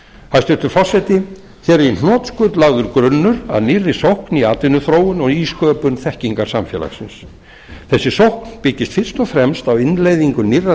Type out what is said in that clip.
hæstvirtur forseti hér er í hnotskurn lagður grunnur að nýrri sókn í atvinnuþróun og nýsköpun þekkingarsamfélagsins þessi sókn byggist fyrst og fremst á innleiðingu nýrrar